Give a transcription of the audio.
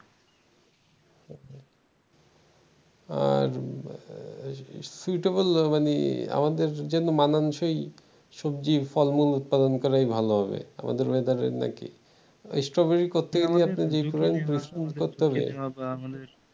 আর few table মানে আমাদের জন্য মানানসই সবজি ফলমূল উৎপাদন করাই ভাল হবে আমাদের weather নাকি স্ট্রবেরি করতে গেলে